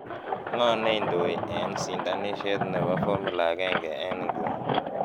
ng'o neindoe en sindanisiet nepo formula agenge en inguni